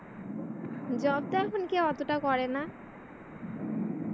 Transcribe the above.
job টা এখন কেউ এতটা করেনা।